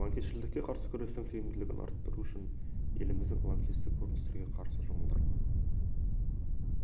лаңкесшілдікке қарсы күрестің тиімділігін арттыру үшін еліміздің лаңкестік көріністерге қарсы жұмылдырылған